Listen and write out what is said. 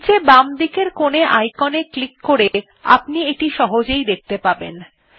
নীচে বামদিকের কোনে icon এ ক্লিক করে আপনি এটি সহজেই দেখতে পাবেন